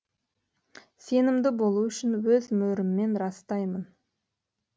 сенімді болу үшін өз мөріммен растаймын